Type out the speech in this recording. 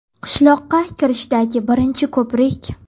Qishloqqa kirishdagi birinchi ko‘prik.